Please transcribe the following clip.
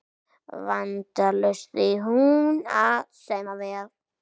Vandalaust því hún á saumavél